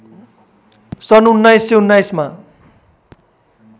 सन् १९१९ मा